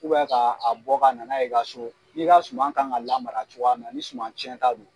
ka a bɔ ka nana ye i ka so, n'i ka suma kan ka lamara cogoya min na, ni suman cɛn ta don